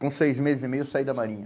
Com seis meses e meio eu saí da Marinha.